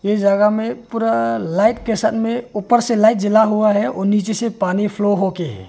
इस जगह में पूरा लाइट के साथ में ऊपर से लाइट जला हुआ है और नीचे से पानी फ्लो हो के है।